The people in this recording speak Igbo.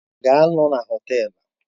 Ha ga-anọ na Họtelu?